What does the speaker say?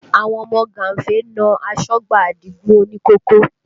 Àwọn ọmọ gánfè na asọ́gbà Adigun òní kòkó